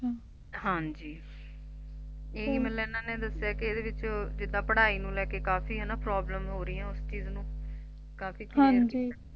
ਹਾਂਜੀ ਹਾਂ ਇਹੀ ਮਤਲਬ ਇਹਨਾਂ ਨੇ ਦਸਿਆ ਕੇ ਇਹਦੇ ਵਿਚ ਜਿਦਾਂ ਪੜ੍ਹਾਈ ਨੂੰ ਲੈਕੇ ਕਾਫੀ ਹਨਾ problem ਹੋ ਰਹੀਆਂ ਉਸ ਚੀਜ ਨੂੰ ਕਾਫੀ